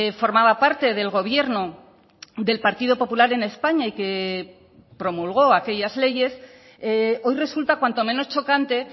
formaba parte del gobierno del partido popular en españa y que promulgó aquellas leyes hoy resulta cuanto menos chocante